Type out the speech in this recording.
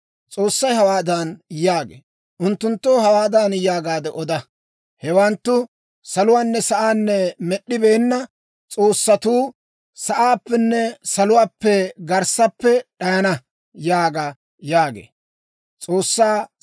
S'oossay hawaadan yaagee; «unttunttoo hawaadan yaagaade oda; ‹Hewanttu saluwaanne sa'aa med'd'ibeenna s'oossatuu sa'aappenne saluwaa garssaappe d'ayana› yaaga» yaagee.